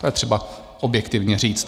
To je třeba objektivně říct.